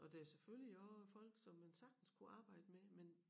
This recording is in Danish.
Og der er selvfølgelig også folk som man sagtens kunne arbejde med men